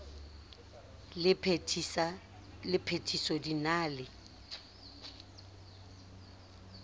le phethiso di na le